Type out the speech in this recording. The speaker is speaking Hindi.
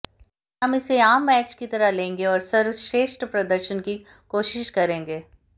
हम इसे आम मैच की तरह लेंगे और सर्वश्रेष्ठ प्रदर्शन की कोशिश करेंगे